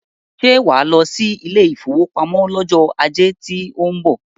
Ṣé wàá lọ sí ilé ìfowópamọ́ lọ́jọ́ ajé tó ń .bọ̀?